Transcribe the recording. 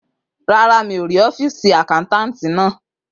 Rárá, mi ò rí ọ́fììsì akápò náà